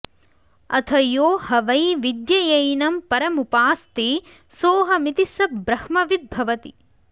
अथ यो ह वै विद्ययैनं परमुपास्ते सोऽहमिति स ब्रह्मविद्भवति